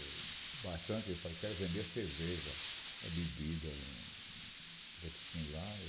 Ele falou quero vender cerveja, bebida, botequim lá.